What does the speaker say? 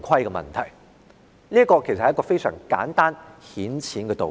這是一個非常簡單顯淺的道理。